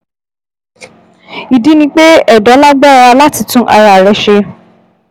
Ìdí ni pé ẹ̀dọ̀ lágbára láti tún ara rẹ̀ ṣe